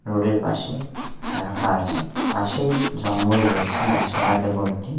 রোডের -এর পাশে রাখা আছে পাশেই জঙ্গল রয়েছে গাছপালাতে ভর্তি।